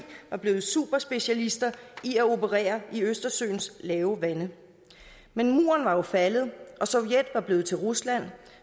var blevet superspecialister i at operere i østersøens lave vande men muren var jo faldet og sovjet var blevet til rusland